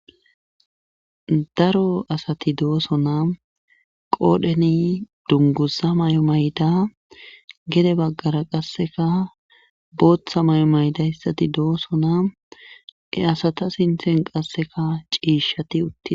daro asati doosonaa qoodheni dungusa may7o mayda gede baggara qasseka booththa may7o mayda hissati dooso naa e asata sinthen qasseka ciishshati utti